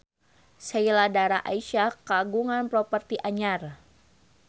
Sheila Dara Aisha kagungan properti anyar